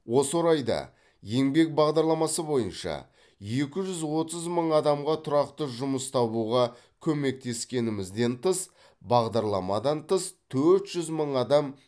осы орайда еңбек бағдарламасы бойынша екі жүз отыз мың адамға тұрақты жұмыс табуға көмектескенімізден тыс бағдарламадан тыс төрт жүз мың адам